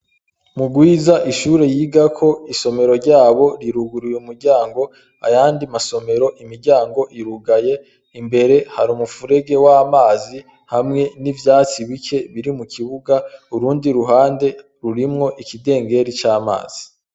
Murwiza ishure yiga ko isomero ryabo riruguruye umuryango ayandi masomero imiryango irugaye imbere hari umupfurege wamazi hamwe n'ivyatsi bike biri mu kibuga urundi ruhande rurimwo ikidengeri c'amazi.